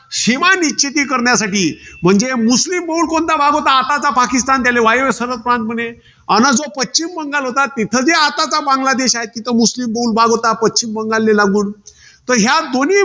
शिमानी शेती करण्यासाठी, म्हणजे मुस्लीम बहुल कोणता भाग होता? आताचा पाकिस्तान झाला वायव्य सरहदप्रमाणे. आणि जो पश्चिम बंगाल होता. तिथं जे आताचा बांगलादेश आहे. तिथं मुस्लीम बहुल भाग होता, पश्चिम बंगालले लागून. तर या दोन्ही